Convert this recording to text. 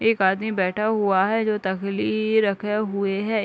एक आदमी बैठा हुआ है जो त-तकली रखे हुए है।